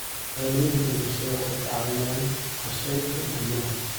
Shahaadooyinka dhimashada waxay ka caawiyaan qorsheynta guryaha.